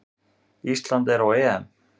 Ísland er á EM!